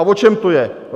A o čem to je?